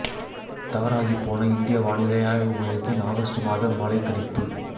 தவறாகிப் போன இந்திய வானிலை ஆய்வு மையத்தின் ஆகஸ்ட் மாத மழை கணிப்பு